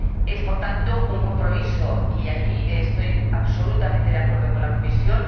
Es, por tanto, un compromiso, y ahí estoy absolutamente de acuerdo con la Comisión